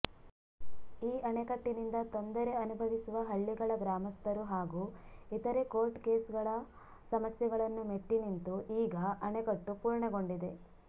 ಈ ಅಣೆಕಟ್ಟಿನಿಂದ ತೊಂದರೆ ಅನುಭವಿಸುವ ಹಳ್ಳಿಗಳ ಗ್ರಾಮಸ್ಥರು ಹಾಗೂ ಇತರೆ ಕೋರ್ಟ್ ಕೇಸುಗಳ ಸಮಸ್ಯೆಗಳನ್ನು ಮೆಟ್ಟಿನಿಂತು ಈಗ ಅಣೆಕಟ್ಟು ಪೂರ್ಣಗೊಂಡಿದೆ